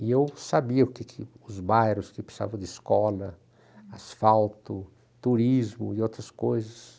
E eu sabia os bairros o que que precisavam de escola, asfalto, turismo e outras coisas.